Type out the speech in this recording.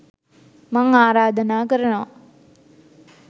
මං ආරාධනා කරනවා